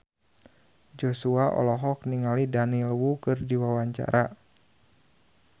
Joshua olohok ningali Daniel Wu keur diwawancara